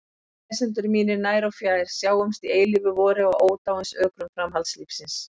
Lesendur mínir nær og fjær, sjáumst í eilífu vori á ódáinsökrum framhaldslífsins!